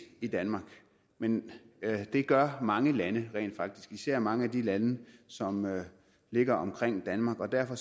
i danmark men det gør mange lande rent faktisk især mange af de lande som ligger omkring danmark derfor